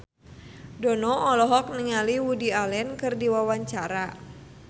Dono olohok ningali Woody Allen keur diwawancara